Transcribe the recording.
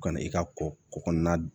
U ka na i ka kɔkɔ kɔnɔna